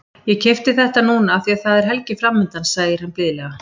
Ég keypti þetta núna af því að það er helgi framundan, segir hann blíðlega.